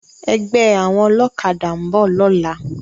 Ègbè áwòn òlòkàdá n bò lòlá